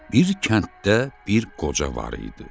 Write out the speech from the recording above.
Bir kənddə bir qoca var idi.